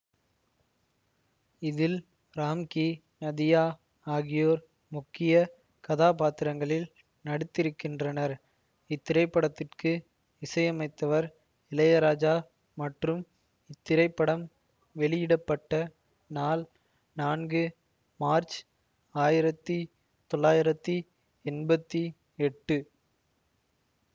இதில் ராம்கி நதியா ஆகியோர் முக்கிய கதாபாத்திரங்களில் நடித்திருக்கின்றனர் இத்திரைப்படத்திற்கு இசையமைத்தவர் இளையராஜா மற்றும் இத்திரைப்படம் வெளியிட பட்ட நாள் நான்கு மார்ச்சு ஆயிரத்தி தொள்ளாயிரத்தி என்பத்தி எட்டு